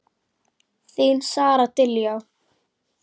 Þín Sara Diljá.